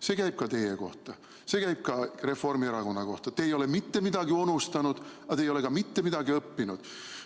See käib ka teie kohta, see käib ka Reformierakonna kohta – te ei ole mitte midagi unustanud, aga te ei ole ka mitte midagi õppinud.